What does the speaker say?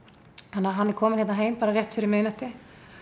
þannig hann er komin hérna heim bara rétt fyrir miðnætti